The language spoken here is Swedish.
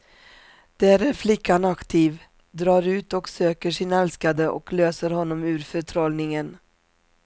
Där är flickan aktiv, drar ut och söker sin älskade och löser honom ur förtrollningen.